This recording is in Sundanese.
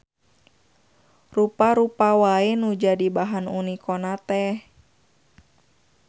Rupa-rupa wae nu jadi bahan uniko na teh.